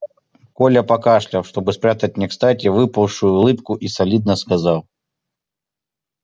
коля покашлял чтобы спрятать некстати выползшую улыбку и солидно сказал